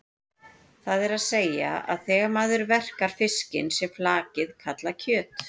Það er að segja að þegar maður verkar fiskinn sé flakið kallað kjöt.